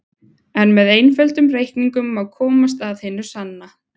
En með einföldum reikningum má komast að hinu sanna.